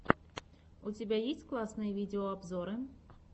у тебя есть классные видеообзоры